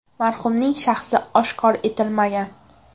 Marhumning shaxsi oshkor etilmagan.